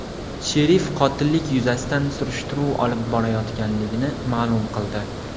Sherif qotillik yuzasidan surishtiruv olib borilayotganligini ma’lum qildi.